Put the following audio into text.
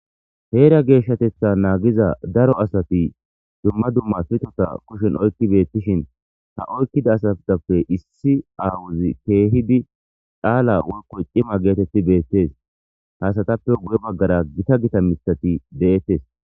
Heera geeshshatetha naagiza daro asati dumma dumma pitota kushen oykki beettishin ha oykkida asatappe issi awuzi keehidi dhaala woykko cima geetetti beettes hasatappe guye baggara gita gita mithati de7ettes.